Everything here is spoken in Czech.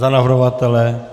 Za navrhovatele?